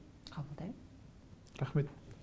қабылдаймын рахмет